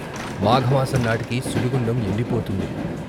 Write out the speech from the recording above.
మాఘమాసం నాటికి సుడిగుండం ఎండిపోతుంది.